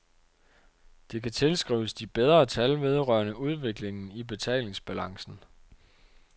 Det kan tilskrives de bedre tal vedrørende udviklingen i betalingsbalancen.